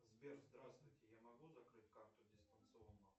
сбер здравствуйте я могу закрыть карту дистанционно